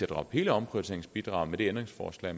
droppe hele omprioriteringsbidraget med det ændringsforslag